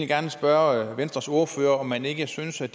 gerne spørge venstres ordfører om man ikke synes at